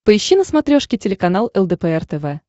поищи на смотрешке телеканал лдпр тв